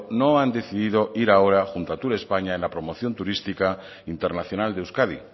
no han decidido ir ahora junto a turespaña en la promoción turística internacional de euskadi